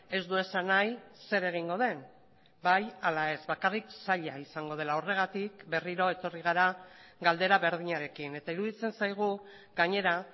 ez du esan nahi zer egingo den bai ala ez bakarrik zaila izango dela horregatik berriro etorri gara galdera berdinarekin eta iruditzen zaigu gainera